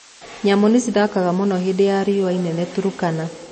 Nyamũ nĩcithĩnĩkaga muno hĩndĩ ya riũa inene Turkana